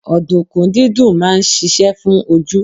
Odunkun dídùn máa ń ṣíṣe fún ojú.